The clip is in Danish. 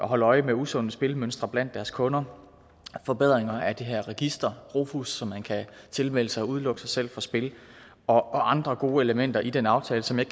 holde øje med usunde spilmønstre blandt deres kunder forbedringer af det her register rofus som man kan tilmelde sig og derved udelukke sig selv fra spil og andre gode elementer i den aftale som jeg